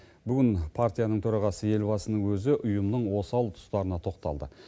бүгін партияның төрағасы елбасының өзі ұйымның осал тұстарына тоқталды